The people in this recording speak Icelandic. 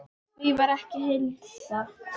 Því var ekki að heilsa.